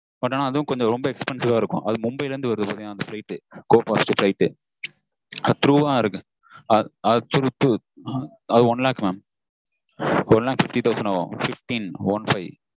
but அது கொஞ்சம் ரொம்ப expensive ஆ இருக்கும் மும்பைல இருந்து வருது அது flight go fast flight அது through வா இருக்கு